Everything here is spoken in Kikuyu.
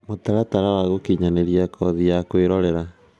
Mũtaratara wa gũkinyanĩr, nĩ kothi ya kũĩrorera